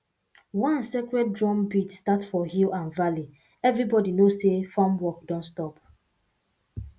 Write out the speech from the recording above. once sacred drumbeat start for hill and valley everybody know say farm work don stop